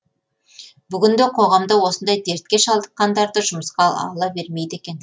бүгінде қоғамда осындай дертке шалдыққандарды жұмысқа ала бермейді екен